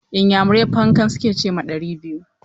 Inyamurai "Púnǹkan" su ke ce ma ɗari biyu.